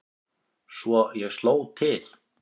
Svo ég sló til.